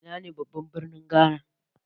Ina ne babban birnin Ghana?